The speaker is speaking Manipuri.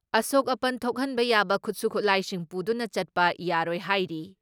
ꯑꯁꯣꯛ ꯑꯄꯟ ꯊꯣꯛꯍꯟꯕ ꯌꯥꯕ ꯈꯨꯠꯁꯨ ꯈꯨꯠꯂꯥꯏꯁꯤꯡ ꯄꯨꯗꯨꯅ ꯆꯠꯄ ꯌꯥꯔꯣꯏ ꯍꯥꯏꯔꯤ ꯫